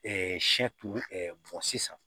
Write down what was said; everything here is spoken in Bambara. sɛ turu bɔn sisan